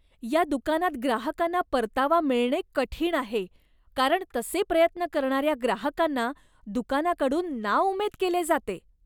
या दुकानात ग्राहकांना परतावा मिळणे कठीण आहे, कारण तसे प्रयत्न करणाऱ्या ग्राहकांना दुकानाकडून नाउमेद केले जाते.